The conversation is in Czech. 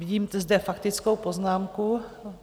Vidím zde faktickou poznámku.